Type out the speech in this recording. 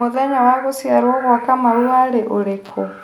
mũthenya wa gũcĩarwo gwa Kamau warĩ ũrĩkũ